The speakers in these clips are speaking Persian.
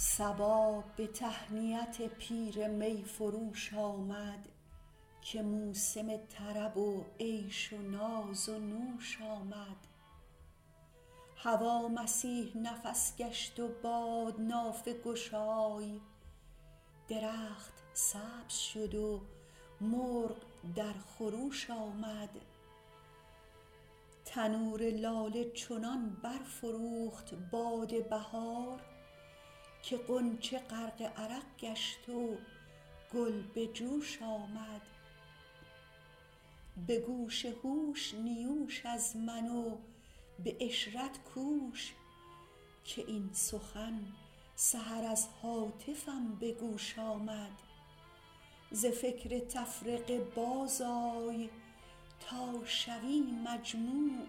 صبا به تهنیت پیر می فروش آمد که موسم طرب و عیش و ناز و نوش آمد هوا مسیح نفس گشت و باد نافه گشای درخت سبز شد و مرغ در خروش آمد تنور لاله چنان برفروخت باد بهار که غنچه غرق عرق گشت و گل به جوش آمد به گوش هوش نیوش از من و به عشرت کوش که این سخن سحر از هاتفم به گوش آمد ز فکر تفرقه بازآی تا شوی مجموع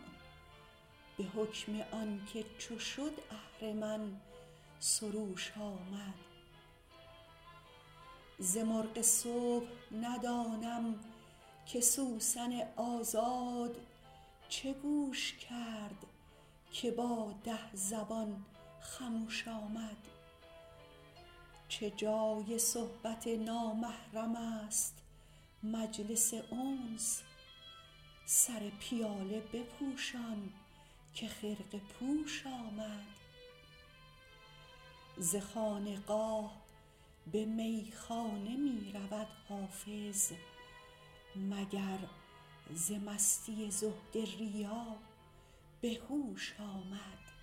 به حکم آن که چو شد اهرمن سروش آمد ز مرغ صبح ندانم که سوسن آزاد چه گوش کرد که با ده زبان خموش آمد چه جای صحبت نامحرم است مجلس انس سر پیاله بپوشان که خرقه پوش آمد ز خانقاه به میخانه می رود حافظ مگر ز مستی زهد ریا به هوش آمد